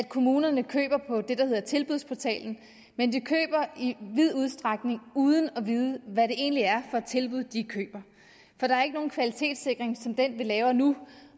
kommunerne køber på det der hedder tilbudsportalen men de køber i vid udstrækning uden at vide hvad det egentlig er for et tilbud de køber for der er ikke nogen kvalitetssikring som den vi laver nu